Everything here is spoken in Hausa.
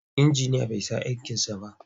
Injiniyan bai san aikinsa ba.